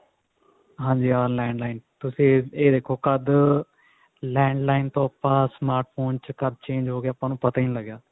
ਹਾਂਜੀ ਹਾਂ landline ਤੁਸੀਂ ਇਹ ਦੇਖੋ ਕਦ landline ਤੋਂ ਆਪਾਂ smart phone ਚ ਕਦ change ਹੋਗੇ ਆਪਾਂ ਨੂੰ ਪਤਾ ਹੀ ਨੀ ਲੱਗਿਆ